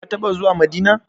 Ka taɓa zuwa Madina?